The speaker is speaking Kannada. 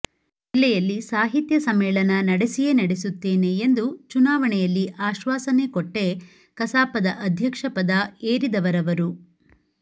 ಜಿಲ್ಲೆಯಲ್ಲಿ ಸಾಹಿತ್ಯ ಸಮ್ಮೇಳನ ನಡೆಸಿಯೇ ನಡೆಸುತ್ತೇನೆ ಎಂದು ಚುನಾವಣೆಯಲ್ಲಿ ಆಶ್ವಾಸನೆ ಕೊಟ್ಟೇ ಕಸಾಪದ ಅಧ್ಯಕ್ಷ ಪದ ಏರಿದವರವರು